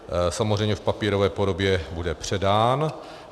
Samozřejmě v papírové podobě bude předán.